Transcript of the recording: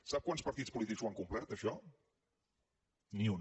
sap quants partits polítics ho han complert això ni un